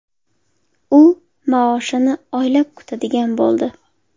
U maoshini oylab kutadigan bo‘ldi.